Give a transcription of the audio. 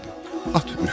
At ükdü.